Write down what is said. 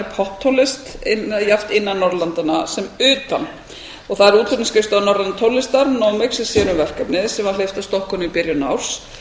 popptónlist jafnt innan norðurlandanna sem utan það er útflutningsskrifstofa norrænnar tónlistar nomex sér um verkefnið sem var hleypt af stokkunum í byrjun árs